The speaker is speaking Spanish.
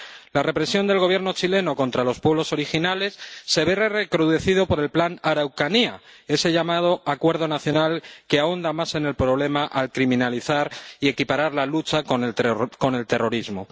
La represión del Gobierno chileno contra los pueblos originales se ve recrudecido por el Plan Araucanía, ese llamado Acuerdo Nacional, que ahonda más en el problema al criminalizar la lucha y equipararla con el terrorismo.